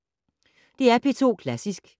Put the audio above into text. DR P2 Klassisk